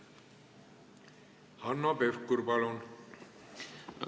Hanno Pevkur, palun!